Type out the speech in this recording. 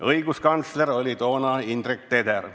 Õiguskantsler oli toona Indrek Teder.